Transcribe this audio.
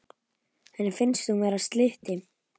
Henni finnst hún vera slytti.